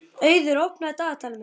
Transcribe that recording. Auður, opnaðu dagatalið mitt.